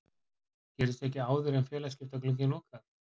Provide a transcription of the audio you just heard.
Gerist ekkert áður en félagaskiptaglugginn lokar?